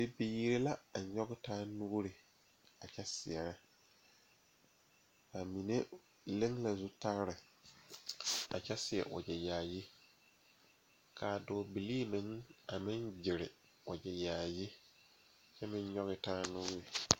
Bibiiri ne Nenbɛre la zeŋ ka ba de ba nuure tuŋ eŋ laa poɔ ka bondire be a laa poɔ a Nenbɛre ne a bibiiri mine taa teɛ ka bamine meŋ de ba nuure a tuŋ eŋ a laa poɔ.